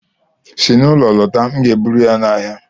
Si n'ụlọ lọta, m ga-eburu ya n'ahịa